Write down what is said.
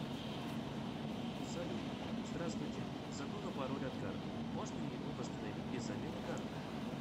салют здравствуйте забыла пароль от карты можно ли его восстановить без замены карты